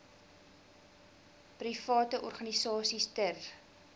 private organisasies ter